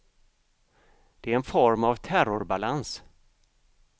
Det är en form av terrorbalans.